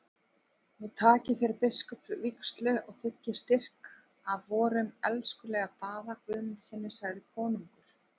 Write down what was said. Nú takið þér biskupsvígslu og þiggið styrk af vorum elskulega Daða Guðmundssyni, sagði konungur.